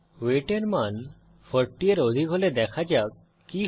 wait এর মান 40 এর অধিক হলে দেখা যাক কি হয়